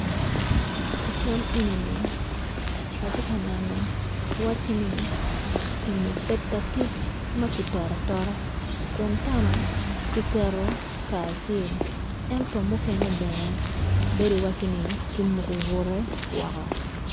I cal eni -ni ati ka neno waci ni eni peta kic ma kitoto atota kun tena ki keto kacel ento mukene bene bedi iwaci ki muku butte woko